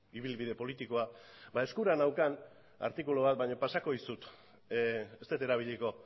ibilbide politikoa eskura neukan artikulu bat baina pasako dizut ez dut erabiliko